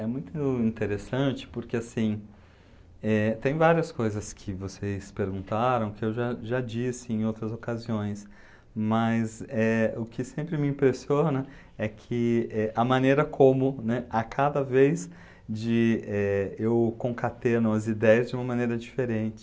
É muito interessante, porque, assim, eh, tem várias coisas que vocês perguntaram, que eu já já disse em outras ocasiões, mas eh, o que sempre me impressiona é que, eh, a maneira como, né, a cada vez, de, eh, eu concateno as ideias de uma maneira diferente.